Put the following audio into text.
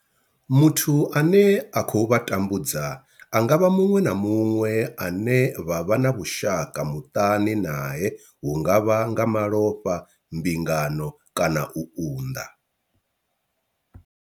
Muthu ane a khou vha tambudza a nga vha muṅwe na muṅwe ane vha vha na vhushaka muṱani nae hu nga vha nga malofha, mbingano kana u unḓa.